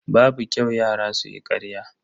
Babu kyau yara su yi ƙarya.